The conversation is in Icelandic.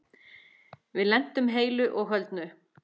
Við lentum heilu og höldnu.